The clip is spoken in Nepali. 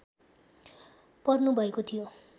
पर्नुभएको थियो